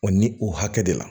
O ni o hakɛ de la